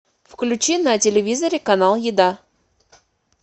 включи на телевизоре канал еда